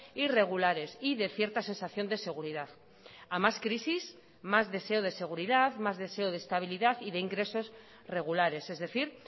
y regulares y de cierta sensación de seguridad a más crisis más deseo de seguridad más deseo de estabilidad y de ingresos regulares es decir